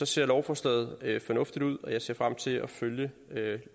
ser lovforslaget fornuftigt ud og jeg ser frem til at følge